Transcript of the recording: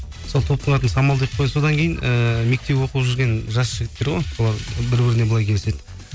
сол топтың атын самал деп қойдық содан кейін ііі мектеп оқып жүрген жас жігіттер ғой солар бір біріне былай келіседі